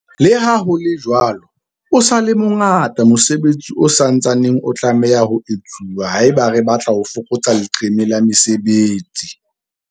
Leha ho le jwalo, o sa le mo ngata mosebetsi o sa ntsaneng o tlameha ho etsuwa haeba re batla ho fokotsa leqeme la mesebetsi.